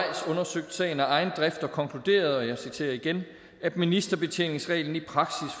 undersøgt sagen af egen drift og konkluderet og jeg citerer igen at ministerbetjeningsreglen i praksis